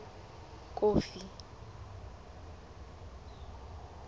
kofi